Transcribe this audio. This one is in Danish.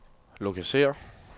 lokalisér